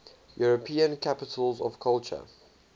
european capitals of culture